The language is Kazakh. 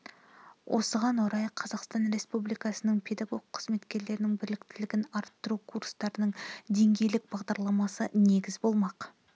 осыған орай қазақстан республикасының педагог қызметкерлерінің біліктілігін арттыру курстарының деңгейлік бағдарламасы негіз болмақ